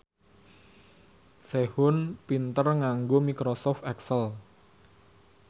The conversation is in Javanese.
Sehun pinter nganggo microsoft excel